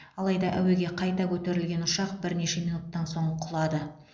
алайда әуеге қайта көтерілген ұшақ бірнеше минуттан соң құлады